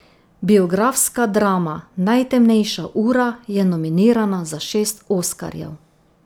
Biografska drama Najtemnejša ura je nominirana za šest oskarjev.